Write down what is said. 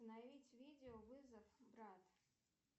установить видео вызов брат